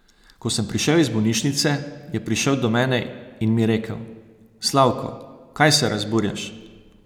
Ko sem prišel iz bolnišnice, je prišel do mene in mi rekel: "Slavko, kaj se razburjaš?